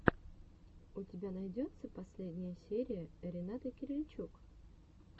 у тебя найдется последняя серия ренаты кирильчук